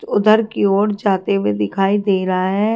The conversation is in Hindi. उधर की ओर जाते हुए दिखाई दे रहा है।